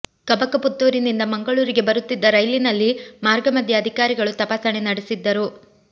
ಕಬಕ ಪುತ್ತೂರಿನಿಂದ ಮಂಗಳೂರಿಗೆ ಬರುತ್ತಿದ್ದ ರೈಲಿನಲ್ಲಿ ಮಾರ್ಗ ಮಧ್ಯೆ ಅಧಿಕಾರಿಗಳು ತಪಾಸಣೆ ನಡೆಸಿದ್ದರು